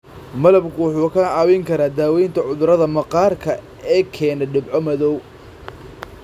Malabku wuxuu kaa caawin karaa daaweynta cudurrada maqaarka ee keena dhibco madow.